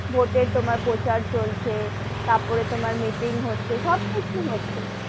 Vote এ তোমার প্রচার চলছে, তার পরে তোমার meeting হচ্ছে, সবকিছুই হচ্ছে,